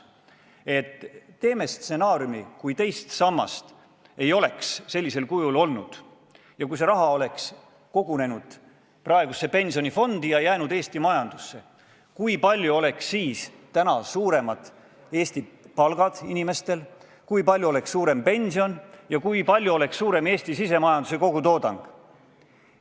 Me oleme pakkunud teha analüüsi, et kui teist sammast ei oleks sellisel kujul olnud ja see raha oleks kogunenud pensionifondi ja jäänud Eesti majandusse: kui palju oleks Eesti inimestel palgad suuremad, kui palju oleks suurem pension ja kui palju oleks suurem Eesti sisemajanduse kogutoodang.